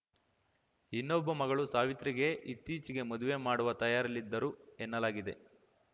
ಇನ್ನೊಬ್ಬ ಮಗಳು ಸಾವಿತ್ರಿಗೆ ಇತ್ತೀಚೆಗೆ ಮದುವೆ ಮಾಡುವ ತಯಾರಿಯಲ್ಲಿದ್ದರು ಎನ್ನಲಾಗಿದೆ